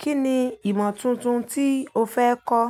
Kí ni ìmọ̀ tuntun tí o fẹ́ kọ́?